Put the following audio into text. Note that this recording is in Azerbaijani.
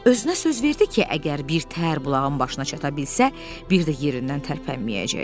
Özünə söz verdi ki, əgər birtəhər bulağın başına çata bilsə, bir də yerindən tərpənməyəcək.